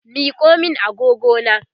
Miko min agogona!